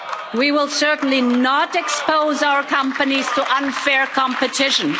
We will certainly not expose our companies to unfair competition.